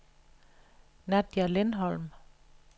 Nadja Lindholm